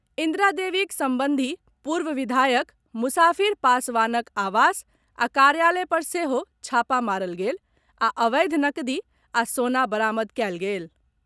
इन्द्रा देवीक संबंधी पूर्व विधायक मुसाफिर पासवानक आवास आ कार्यालय पर सेहो छापा मारल गेल आ अवैध नकदी आ सोना बरामद कएल गेल।